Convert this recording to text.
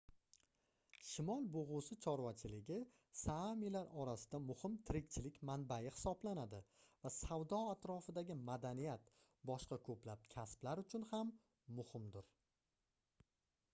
shimol bugʻusi chorvachiligi saamilar orasida muhim tirikchilik manbai hisoblanadi va savdo atrofidagi madaniyat boshqa koʻplab kasblar uchun ham muhimdir